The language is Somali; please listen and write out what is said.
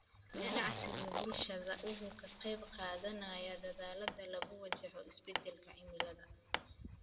Ganacsiga bulshada wuxuu ka qaybqaadanayaa dadaallada lagu wajaho isbeddelka cimilada.